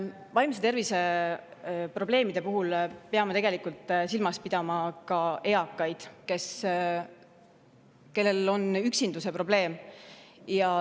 Vaimse tervise probleemide puhul peame silmas pidama ka eakaid, kellel on üksindusprobleem.